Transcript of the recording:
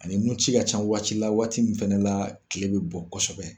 Ani nunci ka can waati la waati min fɛnɛ la kile bɛ bɔ kosɛbɛ.